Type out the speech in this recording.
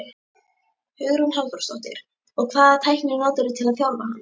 Hugrún Halldórsdóttir: Og hvaða tækni notarðu til að þjálfa hann?